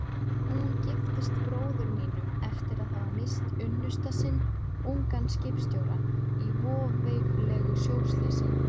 Hún giftist bróður mínum eftir að hafa misst unnusta sinn, ungan skipstjóra, í voveiflegu sjóslysi.